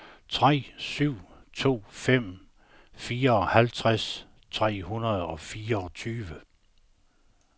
tre syv to fem fireoghalvtreds tre hundrede og fireogtyve